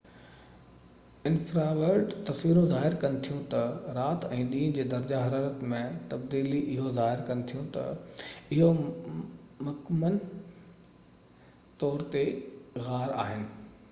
انفراورڊ تصويرون ظاهر ڪن ٿيون ته رات ۽ ڏينهن جي درجه حرارت ۾ تبديليون اهو ظاهر ڪن ٿيون ته اهو مڪمن طور تي غار آهن